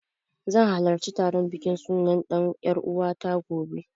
Zan halarci taron bikin sunan ɗan ƴaruwata, gobe.